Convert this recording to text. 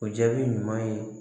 O jaabi ɲuman ye